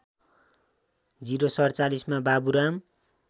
०४७ मा बाबुराम